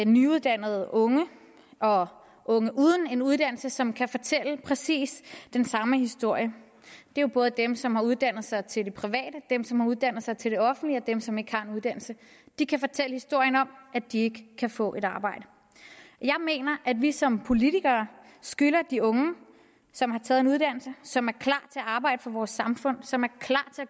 nyuddannede unge og unge uden en uddannelse som kan fortælle præcis den samme historie det er både dem som har uddannet sig til det private dem som har uddannet sig til det offentlige og dem som ikke har en uddannelse de kan fortælle historien om at de ikke kan få et arbejde jeg mener at vi som politikere skylder de unge som har taget en uddannelse som er klar at arbejde for vores samfund og som